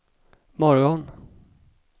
morgon